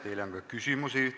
Teile on ka küsimusi.